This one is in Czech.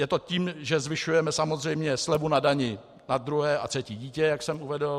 Je to tím, že zvyšujeme samozřejmě slevu na dani na druhé a třetí dítě, jak jsem uvedl.